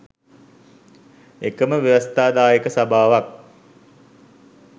එකම ව්‍යවස්ථාදායක සභාවක්